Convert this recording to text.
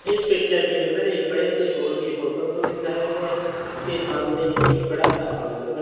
इस पिक्चर के अंदर एक बड़े से हॉल की फोटो को दिखाया गया है उसके सामने एक बड़ा सा काउंटर बना--